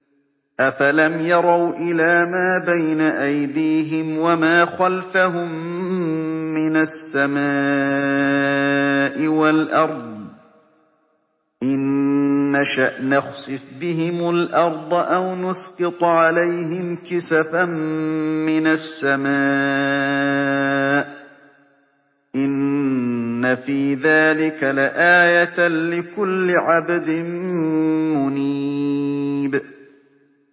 أَفَلَمْ يَرَوْا إِلَىٰ مَا بَيْنَ أَيْدِيهِمْ وَمَا خَلْفَهُم مِّنَ السَّمَاءِ وَالْأَرْضِ ۚ إِن نَّشَأْ نَخْسِفْ بِهِمُ الْأَرْضَ أَوْ نُسْقِطْ عَلَيْهِمْ كِسَفًا مِّنَ السَّمَاءِ ۚ إِنَّ فِي ذَٰلِكَ لَآيَةً لِّكُلِّ عَبْدٍ مُّنِيبٍ